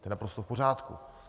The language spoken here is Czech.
To je naprosto v pořádku.